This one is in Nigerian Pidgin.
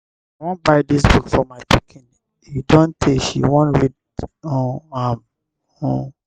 i wan buy dis book for my pikin. e don tey she wan read um am. um